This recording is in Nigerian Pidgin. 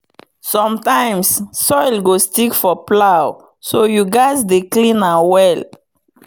sometimes soil go stick for plow so you gatz dey clean am well.